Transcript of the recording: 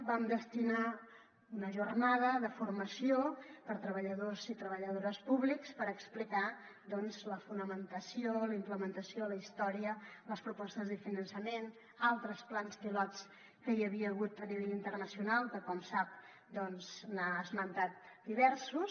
vam destinar una jornada de formació per a treballadors i treballadores públics per explicar doncs la fonamentació la implementació la història les propostes de finançament altres plans pilots que hi havia hagut a nivell internacional que com sap n’ha esmentat diversos